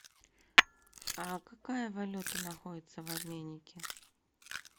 а какая валюта находится в обменнике